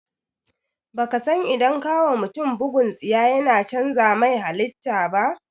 Baka san idan ka wa mutum bugun tsiya yana cànza mai halita ba?